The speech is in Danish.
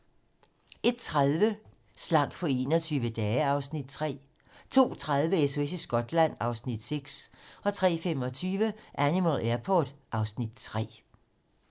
01:30: Slank på 21 dage (Afs. 3) 02:30: SOS i Skotland (Afs. 6) 03:25: Animal Airport (Afs. 3)